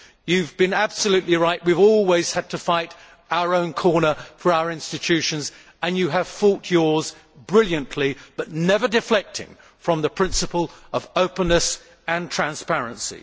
You have been absolutely right we have always had to fight our own corner for our own institutions and you have fought yours brilliantly but never deflecting from the principle of openness and transparency.